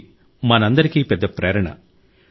ఇది మనందరికీ పెద్ద ప్రేరణ